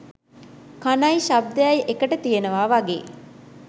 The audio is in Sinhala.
කණයි ශබ්දයයි එකට තියෙනවා වගේ.